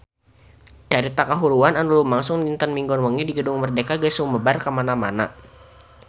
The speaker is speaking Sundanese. Carita kahuruan anu lumangsung dinten Minggon wengi di Gedung Merdeka geus sumebar kamana-mana